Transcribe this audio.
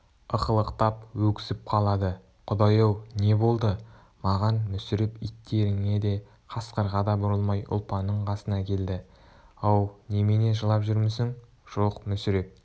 ықылықтап өксіп қалады құдай-ау не болды маған мүсіреп иттеріне де қасқырға да бұрылмай ұлпанның қасына келді ау немене жылап жүрмісің жоқ мүсіреп